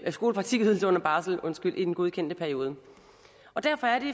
skolepraktikydelse under barsel i den godkendte periode og derfor er det